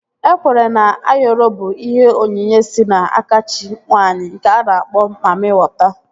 E kweere na Ayoro bụ ihe onyinye si n'aka chi nwaanyị nke a na-akpọ mammị wọta